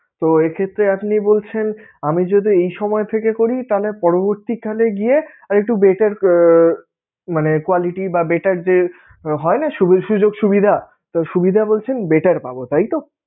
তো এই ক্ষেত্রে আপনি বলছেন, আমি যদি এই সময় থেকে করি তাহলে পরবর্তীকালে গিয়ে আর একটু better আহ মানে quality বা better যে হয়না সুযোগ সুবিধা, তো সুবিধা বলছেন better পাবোতাইতো?